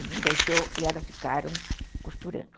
Ele não deixou e elas ficaram costurando.